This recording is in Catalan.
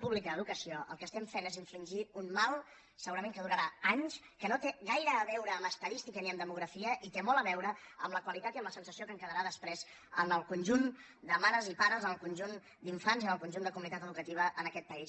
pública d’educació el que fem és infligir un mal segurament que durarà anys que no té gaire a veure amb estadística i demografia i té molt a veure amb la qualitat i amb la sensació que en quedarà després en el conjunt de mares i pares en el conjunt d’infants i en el conjunt de comunitat educativa en aquest país